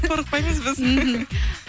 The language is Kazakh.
қорықпаймыз біз мхм